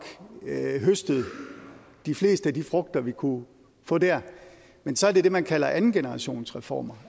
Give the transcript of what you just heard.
har høstet de fleste af de frugter vi kunne få der men så er det det man kalder andengenerationsreformer